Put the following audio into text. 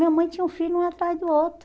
Minha mãe tinha um filho, um atrás do outro.